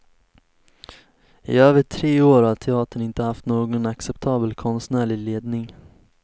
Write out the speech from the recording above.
I över tre år har teatern inte haft någon acceptabel konstnärlig ledning.